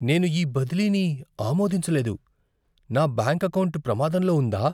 నేను ఈ బదిలీని ఆమోదించలేదు. నా బ్యాంకు ఎకౌంటు ప్రమాదంలో ఉందా?